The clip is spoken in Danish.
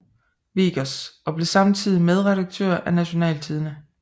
Wiggers og blev samtidig medredaktør af Nationaltidende